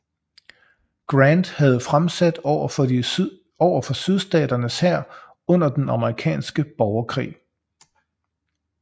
Grant havde fremsat over for sydstaternes hær under den amerikanske borgerkrig